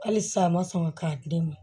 Halisa a ma sɔn ka di ne ma